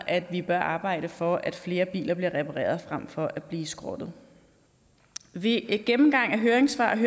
at vi bør arbejde for at flere biler bliver repareret frem for at blive skrottet ved gennemgangen af høringssvarene